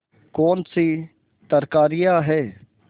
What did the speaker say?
कौनसी तरकारियॉँ हैं